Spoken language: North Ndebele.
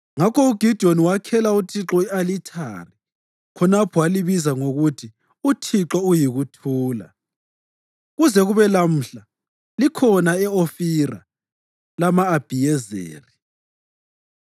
Ngakho uGidiyoni wakhela uThixo i-alithari khonapho walibiza ngokuthi uThixo uyiKuthula. Kuze kube lamhla likhona e-Ofira lama-Abhiyezeri.